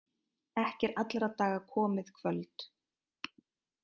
Ekki er allra daga komið kvöld.